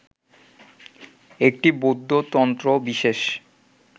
একটি বৌদ্ধ তন্ত্র বিশেষ